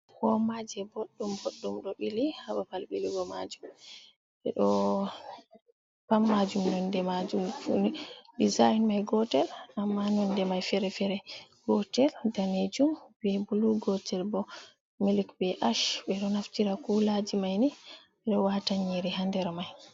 Womaje boɗdum ɓoɗɗum ɗo bili hababal ɓilugo majum ɓe ɗo pammajum nonde majum f design mai gotel amma nonde mai fere fere gotel danejum be blu, gotel bo melik be ash, ɓe ɗo naftira kulaji maini ɓe do wata yiri ha ndere mai.